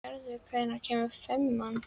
Njörður, hvenær kemur fimman?